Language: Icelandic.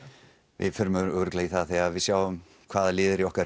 við förum örugglega í það þegar við sjáum hvaða lið eru í okkar